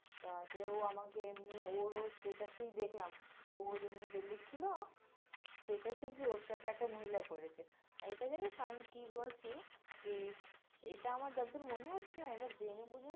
তারপরে ও আমাকে এমনি, ওর, ওর, status এই দেখলাম, ওর এমনি ঢেলেছিল, সেটাতে কি ওর সাথে একটা মহিলা করেছে, আর এটা জানিস আমি কি বলছি, কি, এটা আমার যদ্দুর মনে হচ্ছে না এটা জেনে বুঝে